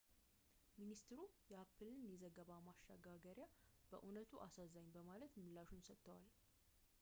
ሚኒስትሩ የአፕልን የዘገባ ማሸጋገር በዕውነቱ አሳዛኝ በማለት ምላሹን ሰጥቷል